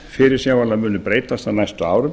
munu fyrirsjáanlega breytast á næstu árum